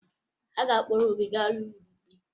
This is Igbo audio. Ha ga-akpọrọ Obi gaa n'ụlọ ikpe